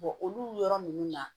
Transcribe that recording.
olu yɔrɔ ninnu na